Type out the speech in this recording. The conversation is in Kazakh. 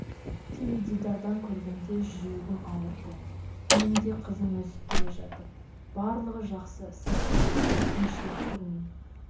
теледидардан көргенде жүрегім ауырды менің де қызым өсіп келе жатыр барлығы жақсы сәтті болсын қиыншылық көрмей